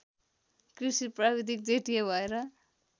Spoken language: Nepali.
कृषि प्राविधिक जेटिए भएर